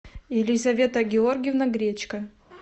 елизавета георгиевна гречка